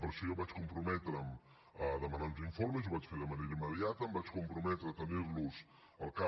per això jo vaig comprometre’m a demanar uns informes ho vaig fer de manera immediata em vaig comprometre a tenir los al cap